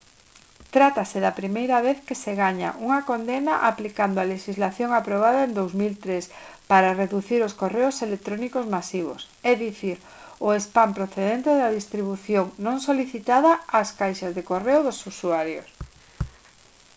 trátase da primeira vez que se gaña unha condena aplicando a lexislación aprobada en 2003 para reducir os correos electrónicos masivos é dicir o spam procedente da distribución non solicitada ás caixas de correo dos usuarios